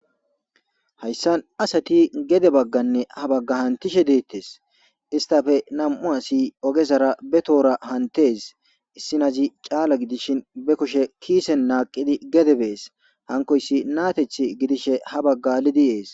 Hayssan asati gede bagganne ha bagga hantishe deettes istafe nam'u asi ogezara be toora hantes issinazi caala gidishin be kushe kiisen naaqidi gede bees hankoyssi naateth gidishe ha bagga lidi ees.